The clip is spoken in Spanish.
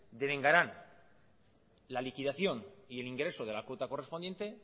devengarán la liquidación y el ingreso de la cuota correspondiente